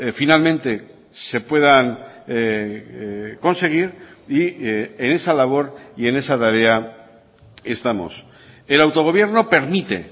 finalmente se puedan conseguir y en esa labor y en esa tarea estamos el autogobierno permite